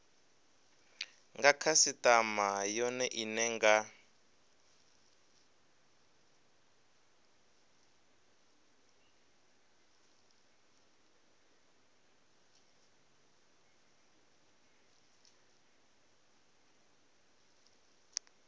nga khasitama yone ine nga